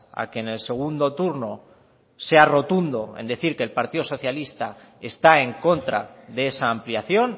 a que en el segundo turno sea rotundo en decir que el partido socialista está en contra de esa ampliación